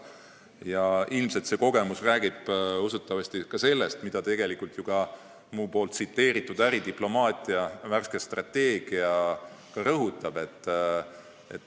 Ja see kogemus räägib usutavasti sellestki, mida rõhutab tegelikult ka äridiplomaatia värske strateegia, mida ma tsiteerisin.